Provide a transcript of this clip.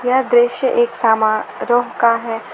यह दृश्य एक समारोह का है।